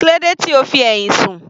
Kílódé tí o fi ẹ̀hìn rẹ sùn.